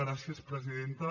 gràcies presidenta